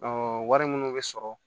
wari minnu bɛ sɔrɔ